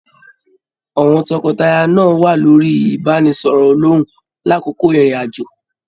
Àwọn tọkọtaya náà wà lórí ibanisọrọ olòhùn l'akoko ìrìn àjò.